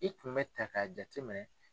I tun bɛ ta k'a jate minɛ